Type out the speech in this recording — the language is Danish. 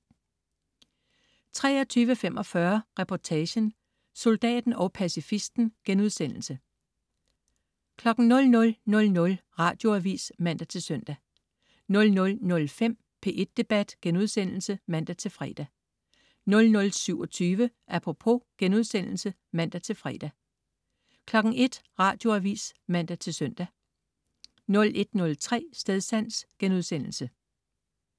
23.45 Reportagen: Soldaten og pacifisten* 00.00 Radioavis (man-søn) 00.05 P1 Debat* (man-fre) 00.27 Apropos* (man-fre) 01.00 Radioavis (man-søn) 01.03 Stedsans*